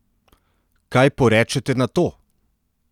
Kaj porečete na to?